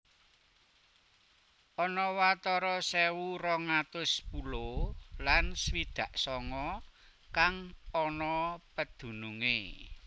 Ana watara sewu rong atus pulo lan swidak songo kang ana pedunungé